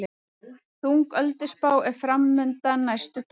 Þung ölduspá er framundan næstu daga